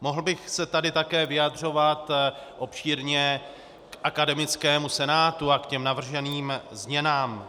Mohl bych se tady také vyjadřovat obšírně k akademickému senátu a k těm navrženým změnám.